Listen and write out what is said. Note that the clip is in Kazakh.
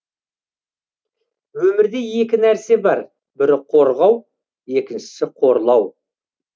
өмірде екі нәрсе бар бірі қорғау екіншісі қорлау